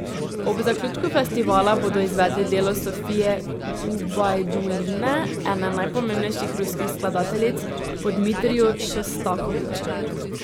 Ob zaključku festivala bodo izvedli delo Sofije Gubajduline, ene najpomembnejših ruskih skladateljic po Dmitriju Šostakoviču.